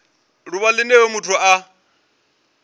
ḓuvha line hoyo muthu a